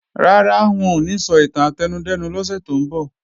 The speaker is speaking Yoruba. Rárá, wọn ò ní sọ ìtàn átẹnudẹ́nu lọ́sẹ̀ tó ń bọ̀